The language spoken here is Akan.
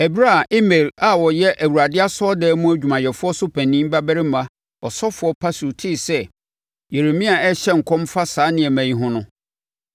Ɛberɛ a Imer a ɔyɛ Awurade asɔredan mu adwumayɛfoɔ so panin babarima ɔsɔfoɔ Pashur tee sɛ Yeremia rehyɛ nkɔm fa saa nneɛma yi ho no,